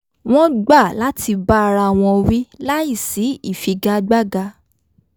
wọ́n gbà láti bá ara àwọn wí láìsí ìfigagbága